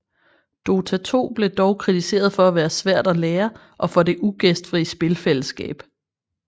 Dota 2 blev dog kritiseret for at være svært at lære og for det ugæstfri spilfællesskab